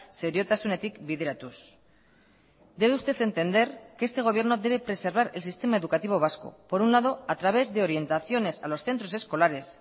seriotasunetik bideratuz debe usted entender que este gobierno debe preservar el sistema educativo vasco por un lado a través de orientaciones a los centros escolares